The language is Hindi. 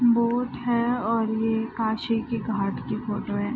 बोट है और ये काशी की घाट की फोटो है।